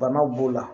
Banaw b'o la